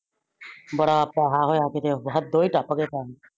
ਬੜਾ ਪੇਸਾ ਹੋਆ ਕੀਤੇ ਬਹੁਤ ਹਦੋ ਹੀ ਟੱਪ ਗਿਆ ਕੰਮ।